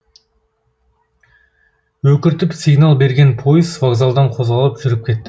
өкіртіп сигнал берген пойыз вокзалдан қозғалып жүріп кетті